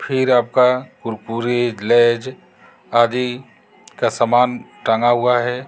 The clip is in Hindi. फिर आपका कुरकुरे लेज आदि का सामान टांगा हुआ है।